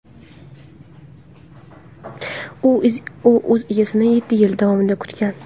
U o‘z egasini yetti yil davomida kutgan.